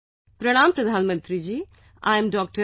"Pranam Pradhan Mantri ji, I am Dr